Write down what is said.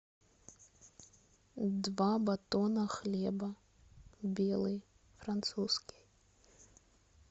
два батона хлеба белый французский